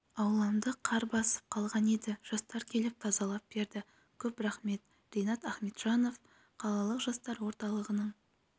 ауламды қар басып қалған еді жастар келіп тазалап берді көп рахмет ринад ахмеджанов қалалық жастар орталығының